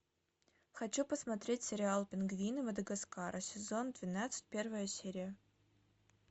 хочу посмотреть сериал пингвины мадагаскара сезон двенадцать первая серия